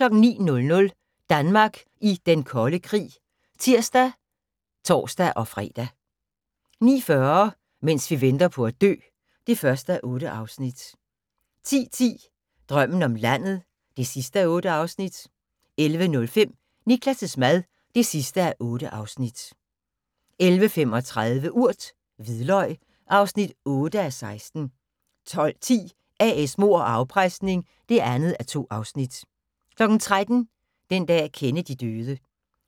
09:00: Danmark i Den Kolde Krig (tir og tor-fre) 09:40: Mens vi venter på at dø (1:8) 10:10: Drømmen om landet (8:8) 11:05: Niklas' mad (8:8) 11:35: Urt: Hvidløg (8:16) 12:10: A/S Mord og afpresning (2:2) 13:00: Den dag Kennedy døde